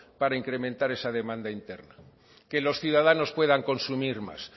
para incrementar esa demanda interna que los ciudadanos puedan consumir más